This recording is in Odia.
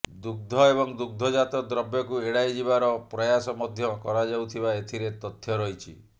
ଦୁଗ୍ଧ ଏବଂ ଦୁଗ୍ଧଜାତ ଦ୍ରବ୍ୟକୁ ଏଡ଼ାଇଯିବାର ପ୍ରୟାସ ମଧ୍ୟ କରାଯାଉଥିବା ଏଥିରେ ତଥ୍ୟ ରହିଛି